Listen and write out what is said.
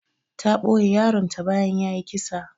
Ta ɓoye yaron ta bayan yayi kisa.